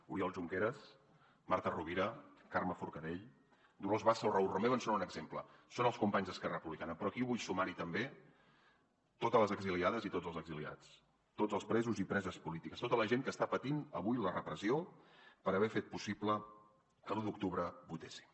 oriol junqueras marta rovira carme forcadell dolors bassa o raül romeva en són un exemple són els companys d’esquerra republicana però aquí vull sumar hi també totes les exiliades i tots els exiliats tots els presos i preses polítiques tota la gent que està patint avui la repressió per haver fet possible que l’u d’octubre votéssim